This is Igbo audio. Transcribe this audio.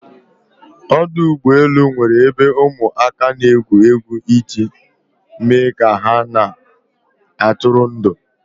Ọdụ ụgbọ elu nwere ebe ụmụ aka n'egwu egwu iji me ka ha na atụri ndụ